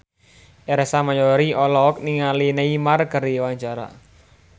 Ersa Mayori olohok ningali Neymar keur diwawancara